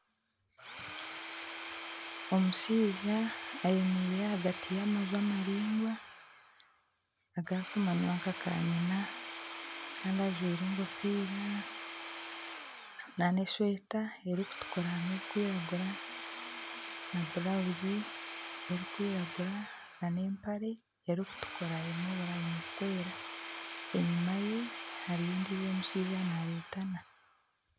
Omushaija ayemereire ahagati y'amaju amaraingwa agakumanywa nka kanyina Kandi ajwire enkofiira nana eshweta erikutukura harimu ebirikwiragura na burawuzi erikwiragura nana empare erikutukura erimu oburayini burikwera enyima ye hariyo ondijo omushaija naretana.